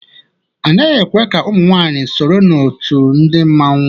A naghị ekwe ka ụmụ nwanyị sonye na òtù ndị mmanwu.